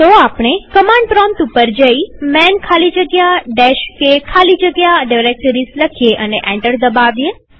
તો આપણે command prompt પર જઈman ખાલી જગ્યા k ખાલી જગ્યા ડિરેક્ટરીઝ લખીએ અને એન્ટર દબાવીએ